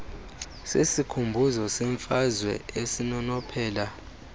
sesikhumbuzo semfazwe esinonophela